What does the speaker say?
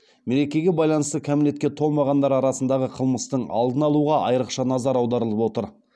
мерекеге байланысты кәмелетке толмағандар арасындағы қылмыстың алдын алуға айрықша назар аударылып отыр